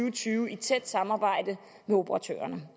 og tyve i tæt samarbejde med operatørerne